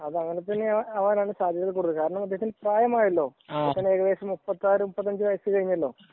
അതെ അങ്ങനെയൊക്കെ അവനാണ് സാധ്യത ഉള്ളത്. കാരണം പ്രായമായല്ലോ ഏകദേശം മുപ്പത്തഞ്ചു മുപ്പത്താറു വയസ്സ് കഴിഞ്ഞല്ലോ